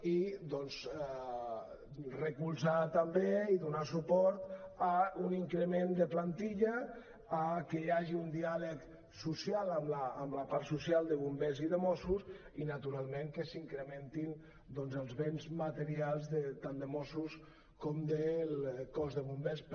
i doncs recolzar també i donar suport a un increment de plantilla a que hi hagi un diàleg social amb la part social de bombers i de mossos i naturalment que s’incrementin doncs els béns materials tant de mossos com del cos de bombers